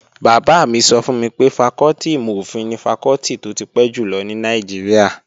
Bàbá mi sọ fún mi pé fakọ́tì ìmò-òfin ni fakọ́tì tó ti pẹ́ jùlọ ní Nàìjíríà